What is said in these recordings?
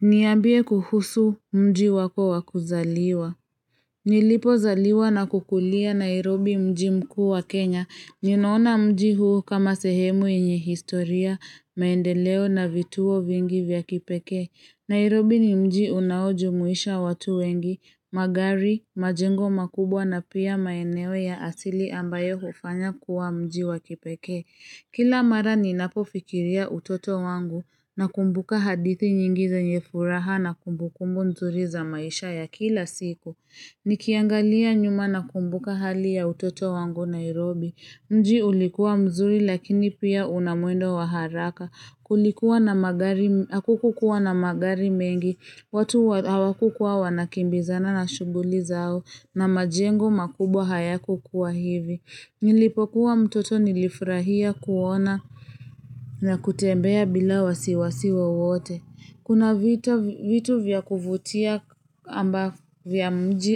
Niambie kuhusu mji wako wa kuzaliwa nilipozaliwa na kukulia Nairobi mji mkuu wa Kenya. Ninaona mji huu kama sehemu yenye historia, maendeleo na vituo vingi vya kipekee. Nairobi ni mji unaojumuisha watu wengi. Magari, majengo makubwa na pia maeneo ya asili ambayo hufanya kuwa mji wa kipekee. Kila mara ninapofikiria utoto wangu nakumbuka hadithi nyingi zenye furaha na kumbukumbu mzuri za maisha ya kila siku. Nikiangalia nyuma na kumbuka hali ya utoto wangu Nairobi. Mji ulikuwa mzuri lakini pia una mwendo wa haraka. Hakukuwa na magari mengi, watu hawakukuwa wanakimbizana na shughuli zao na majengo makubwa hayakuwa hivi. Nilipokuwa mtoto nilifurahia kuona na kutembea bila wasiwasi wowote Kuna vitu vya kuvutia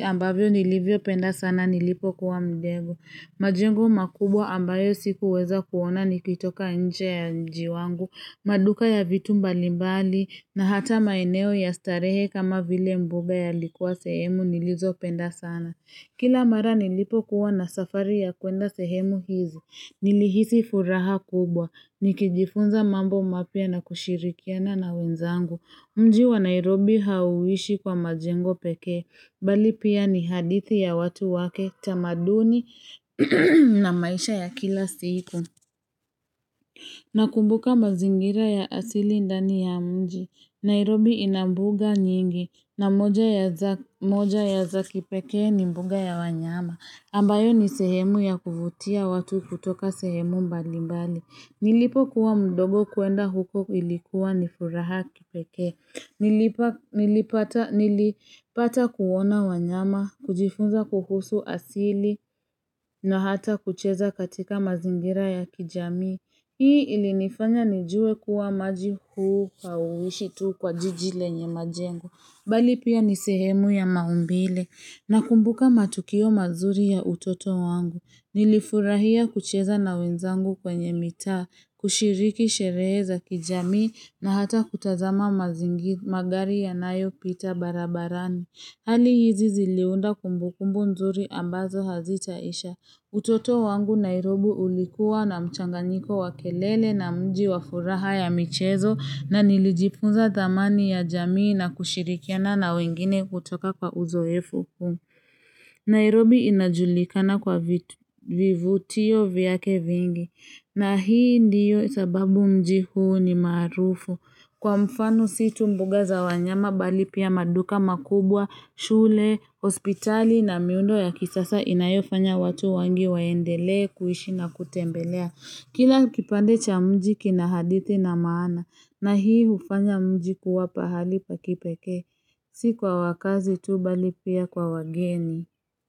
ambavyo nilivyopenda sana nilipokuwa mdogo majengo makubwa ambayo sikuweza kuona nikitoka nje ya mji wangu maduka ya vitu mbalimbali na hata maeneo ya starehe kama vile mbuga yalikuwa sehemu nilizopenda sana Kila mara nilipokuwa na safari ya kuenda sehemu hizo. Nilihisi furaha kubwa. Nikijifunza mambo mapya na kushirikiana na wenzangu. Mji wa Nairobi hauishi kwa majengo pekee. Bali pia ni hadithi ya watu wake, tamaduni na maisha ya kila siku. Nakumbuka mazingira ya asili ndani ya mji. Nairobi ina mbuga nyingi. Na moja ya za kipeke ni mbuga ya wanyama. Ambayo ni sehemu ya kuvutia watu kutoka sehemu mbali mbali. Nilipokuwa mdogo kuenda huko ilikuwa ni furaha kipeke. Nilipata kuona wanyama, kujifunza kuhusu asili na hata kucheza katika mazingira ya kijamii. Hii ilinifanya nijue kuwa maji huu hauishi tu kwa jiji lenye majengo. Bali pia ni sehemu ya maumbile nakumbuka matukio mazuri ya utoto wangu. Nilifurahia kucheza na wenzangu kwenye mitaa, kushiriki sherehe za kijamii na hata kutazama mazingi magari yanayo pita barabarani. Hali hizi ziliunda kumbukumbu nzuri ambazo hazitaisha. Utoto wangu Nairobi ulikuwa na mchanganiko wa kelele na mji wa furaha ya michezo na nilijifunza dhamani ya jamii na kushirikiana na wengine kutoka kwa uzoefu. Nairobi inajulikana kwa vivutio vyake vingi na hii ndiyo sababu mji huu ni marufu. Kwa mfano si tu mbuga za wanyama bali pia maduka makubwa, shule, hospitali na miundo ya kisasa inayofanya watu wengi waendelee kuishi na kutembelea. Kila kipande cha mji kina hadithi na maana na hii hufanya mji kuwa pahali pa kipekee. Si kwa wakazi tu bali pia kwa wageni.